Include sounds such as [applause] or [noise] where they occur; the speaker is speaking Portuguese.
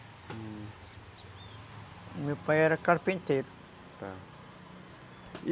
O meu pai era carpinteiro [unintelligible]